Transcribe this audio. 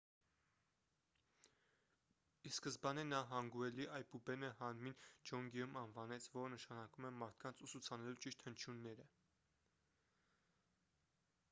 ի սկզբանե նա հանգուելի այբուբենը հանմին ջոնգեում անվանեց որը նշանակում է մարդկանց ուսուցանելու ճիշտ հնչյունները